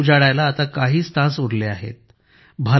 2024 उजाडायला आता काहीच तास बाकी उरले आहेत